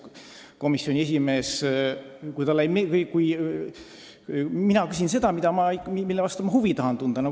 Komisjoni esimehele ei pruugi see meeldida, aga mina küsin ikka seda, mille vastu ma huvi tunnen.